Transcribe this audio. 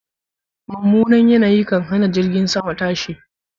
Mummunan yanayi kan hana jiragen sama tashi.